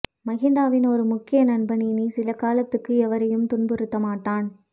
மகிந்தவின் ஒரு முக்கிய நண்பன் இனி சில காலத்துக்கு எவரையும் துன்புறுத்தமாட்டான்